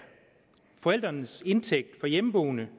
forældrenes indtægt for hjemmeboende